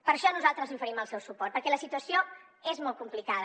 per això nosaltres li oferim el seu suport perquè la situació és molt complicada